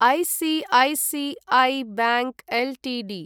ICICI bank Ltd